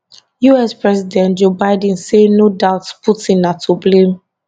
us president joe biden say no doubt putin na to blame